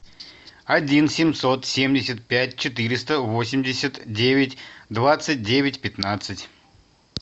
один семьсот семьдесят пять четыреста восемьдесят девять двадцать девять пятнадцать